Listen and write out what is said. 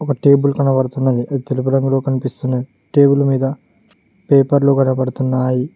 ఒక టేబుల్ కనబడుతున్నది అది తెలుపు రంగులో కనిపిస్తున్నది టేబుల్ మీద పేపర్లు కనపడ్తున్నాయి.